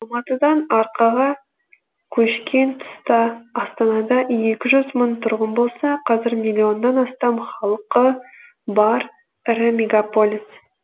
алматыдан арқаға көшкен тұста астанада екі жүз мың тұрғын болса қазір миллионнан астам халқы бар ірі мегаполис